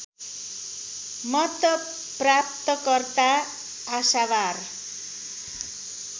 मत प्राप्तकर्ता आशावार